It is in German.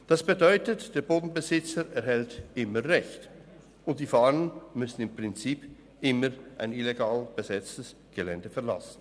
Das bedeutet, der Bodenbesitzer erhält immer Recht, und die Fahrenden müssen im Prinzip immer ein illegal besetztes Gelände verlassen.